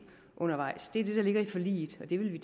undervejs det er det der ligger i forliget og det vil